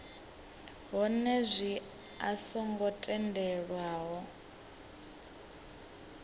hone zwino a songo tendelwaho